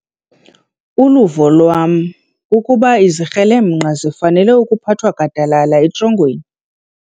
Uluvo lwam kukuba izikrelemnqa zifanele ukuphathwa gadalala etrongweni.